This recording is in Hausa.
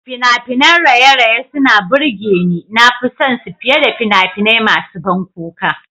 Fina-finan raye-raye suna burge ni, na fi son su fiye da fina-finai masu ban kuka.